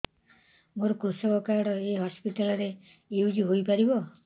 ମୋର କୃଷକ କାର୍ଡ ଏ ହସପିଟାଲ ରେ ୟୁଜ଼ ହୋଇପାରିବ